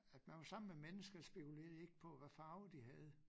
At man var sammen med mennesker spekulerede de ikke på hvad farve de havde